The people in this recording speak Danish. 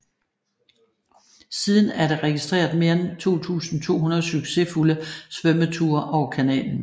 Siden er der registreret mere end 2200 succesfulde svømmeture over kanalen